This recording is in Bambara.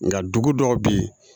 Nga dugu dɔw be yen